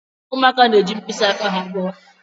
Ụmụaka na-eji mkpịsị aka ha gụọ.